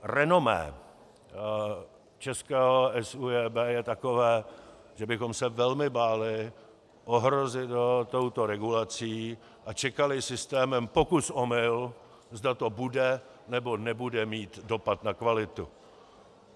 Renomé českého SÚJB je takové, že bychom se velmi báli ohrozit ho touto regulací a čekali systémem pokus-omyl, zda to bude, nebo nebude mít dopad na kvalitu.